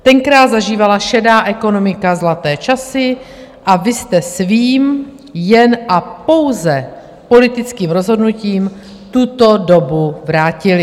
Tenkrát zažívala šedá ekonomika zlaté časy a vy jste svým jen a pouze politickým rozhodnutím tuto dobu vrátili.